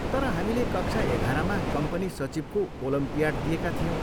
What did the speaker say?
तर हामीले कक्षा एघारमा कम्पनी सचिवको ओलम्पियाड दिएका थियौँ।